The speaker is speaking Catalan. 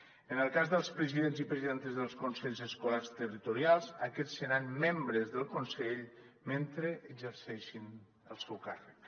en el cas dels presidents i presidentes dels consells escolars territorials aquests seran membres del consell mentre exerceixin el seu càrrec